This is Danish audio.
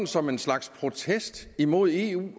som en slags protest mod eu